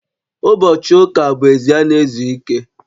ụbochị ụka bụ esi a na-ezu ike